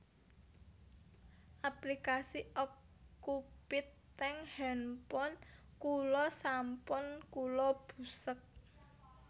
Aplikasi Okcupid teng handphone kula sampun kula busek